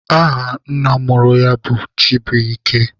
Aha nna mụrụ ya bụ Chibuike.